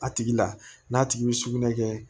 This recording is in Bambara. A tigi la n'a tigi bɛ sugunɛ kɛ